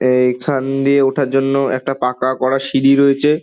এইখান দিয়ে ওঠার জন্য একটা পাকা করা সিঁড়ি রয়েছে।